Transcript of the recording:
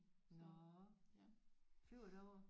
Nåh flyver I derover?